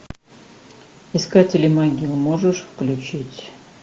искатели могил можешь включить